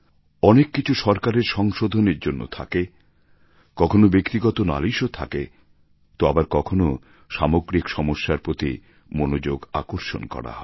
অনেক কিছু সরকারের সংশোধনের জন্য থাকে কখনও ব্যক্তিগত নালিশও থাকে তো আবার কখনও সামগ্রিক সমস্যার প্রতি মনোযোগ আকর্ষণ করা হয়